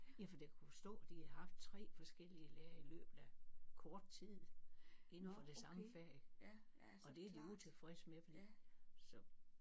Ja fordi jeg kunne forstå at de havde haft 3 forskellige lærere i løbet af kort tid inden for det samme fag og det er de utilfredse med fordi så